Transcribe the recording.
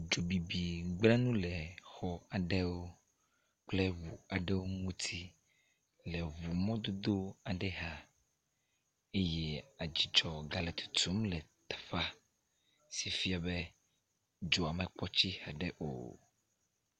Dzobibi gble nu le xɔ aɖewo kple ŋu aɖewo ŋuti le ŋu mɔdodowo aɖe xa eye adzudzɔ gale tutum le teƒea si fia be, dzoa mekpɔ tsi haɖe o.